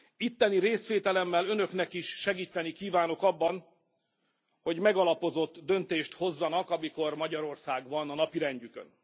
Itteni részvételemmel Önöknek is segíteni kívánok abban, hogy megalapozott döntést hozzanak, amikor Magyarország van a napirendjükön.